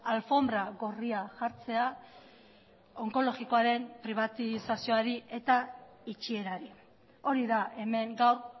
alfonbra gorria jartzea onkologikoaren pribatizazioari eta itxierari hori da hemen gaur